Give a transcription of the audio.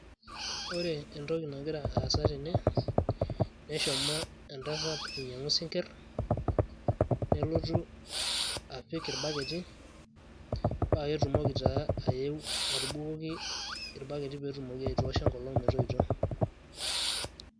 ore entoki nagira aasa tene, neshomo entasat ainyiangu isinkir nelotu apik irbaketi, paa ketumoki taa ayeu aitoosho enkolong' metoito.